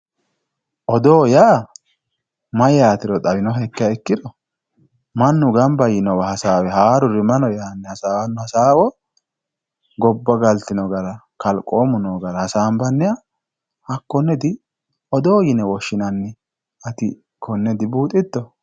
odoo yaa mayyaatero xawinohekkiha ikkiro mannu ganba yiinowa hasaawe haaruri mayi no yaanni hasaawanno hasaawo gobba galtino gara kalqoomu noo gara hasaanbanniha hakkonneeti odoo yine woshshinanni ati konne dibuuxitto